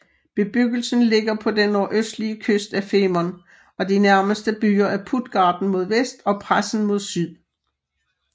Bebyggelsen ligger på den nordøstlige kyst af Femern og de nærmeste byer er Puttgarden mod vest og Presen mod syd